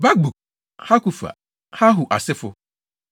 Bakbuk, Hakufa, Harhur asefo, 1